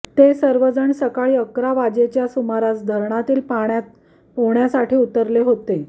ते सर्वजण सकाळी अकरा वाजेच्या सुमारास धरणातील पाण्यात पोहण्यासाठी उतरले होते